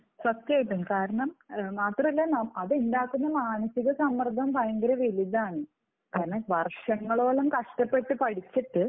സത്യമായിട്ടും. കാരണം മാത്രമല്ല അതുണ്ടാക്കുന്ന മാനസിക സമ്മർദ്ദം ഭയങ്കര വലുതാണ്. കാരണം വർഷങ്ങളോളം കഷ്ടപ്പെട്ട് പഠിച്ചിട്ട്